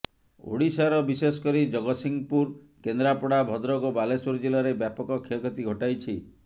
ଓଡ଼ିଶାର ବିଶେଷକରି ଜଗତସିଂହପୁର କେନ୍ଦ୍ରାପଡ଼ା ଭଦ୍ରକ ଓ ବାଲେଶ୍ୱର ଜିଲ୍ଲାରେ ବ୍ୟାପକ କ୍ଷୟକ୍ଷତି ଘଟାଇଛି